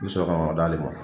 I bɛ sɔn ka d'ale ma.